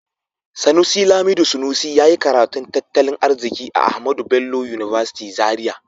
Sanusi Lamido Sanusi ya yi karatun tattalin arziki a Ahmadu Bello University Zaria.